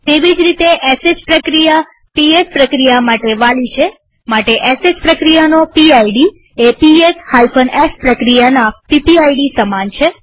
તેવી જ રીતે શ પ્રક્રિયા પીએસ પ્રક્રિયા માટે વાલી છે માટે શ પ્રક્રિયાનો પીડ એ પીએસ f પ્રક્રિયાના પીપીઆઈડી સમાન છે